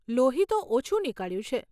લોહી તો ઓછું નીકળ્યું છે.